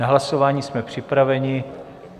Na hlasování jsme připraveni.